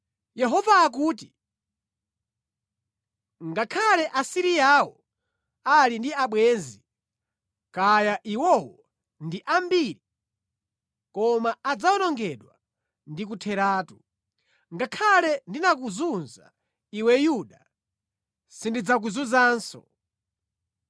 Yehova akuti, “Ngakhale Asiriyawo ali ndi abwenzi, kaya iwowo ndi ambiri, koma adzawonongedwa ndi kutheratu. Ngakhale ndinakuzunza iwe Yuda, sindidzakuzunzanso.